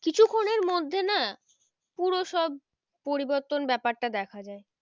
কিছুক্ষনের মধ্যে না পুরো সব পরিবর্তন ব্যাপারটা দেখা যায়